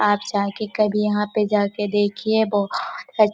आप जा के कभी यहाँ पे जा के देखिए बहोत अच्छा--